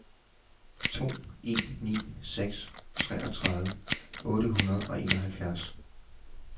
to en ni seks treogtredive otte hundrede og enoghalvfjerds